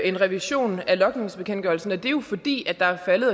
en revision af logningsbekendtgørelsen og det er jo fordi der er faldet